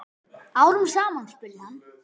Árum saman? spurði hann.